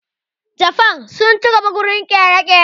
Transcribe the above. Jafan sun ci gaba wajen ƙere-ƙere